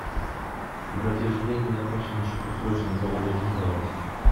братиш деньги закончились на счету срочно горю закинь пожалуйста